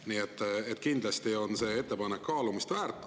Nii et kindlasti on see ettepanek kaalumist väärt.